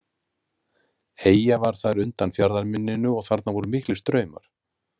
Eyja var þar undan fjarðarmynninu og þarna voru miklir straumar.